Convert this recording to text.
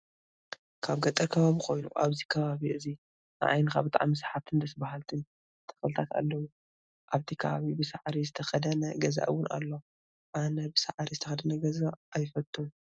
ኣብ ገጠር ከባቢ ኮይኑ ኣብዚ ከባቢ እዚ ንዓይንካ ብጣዕሚ ሰሓብትን ደስ በሃልትን ተክልታት ኣለው። ኣብቲ ከባቢ ብሳዕሪ ዝተከደነ ገዛ እውን ኣሎ። ኣነ ብሳዕሪ ዝተከደነ ገዛ ኣይፈቱን።